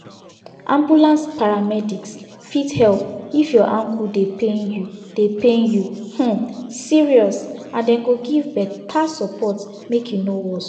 ambulance paramedics fit help if your ankle dey pain you dey pain you um serious and dem go give better support make e no worse